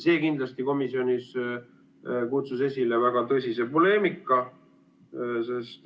See kutsus komisjonis esile väga tõsise poleemika.